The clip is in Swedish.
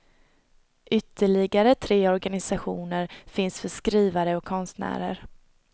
Ytterligare tre organisationer finns för skrivare och konstnärer.